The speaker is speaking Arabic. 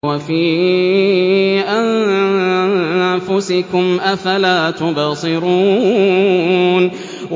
وَفِي أَنفُسِكُمْ ۚ أَفَلَا تُبْصِرُونَ